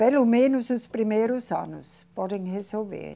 Pelo menos os primeiros anos podem resolver.